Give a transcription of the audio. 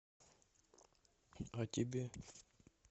а тебе